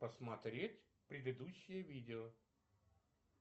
посмотреть предыдущее видео